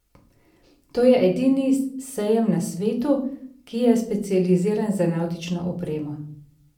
To je edini sejem na svetu, ki je specializiran za navtično opremo.